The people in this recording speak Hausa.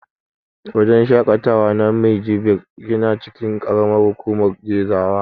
Wajen shaƙatawa na Minjibir yana cikin ƙaramar hukumar Gezawa.